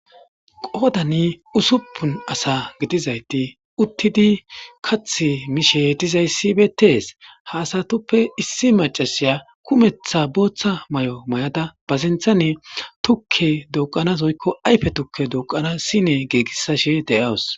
Qoodani usuppun asa gidizayti uttidi kath mishe dizayssi betees ha asatuppe issi macasiya kumetha booththa may7o may7ada bazenthanne tukke doqanas oykko ayfe tukke doqana sine geegissashe de7awus.